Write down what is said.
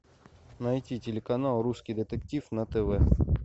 найти телеканал русский детектив на тв